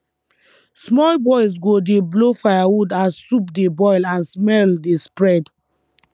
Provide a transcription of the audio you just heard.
small boys go dey blow firewood as soup dey boil and smell dey spread